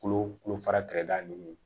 Kolo kulo fara kɛrɛda ninnu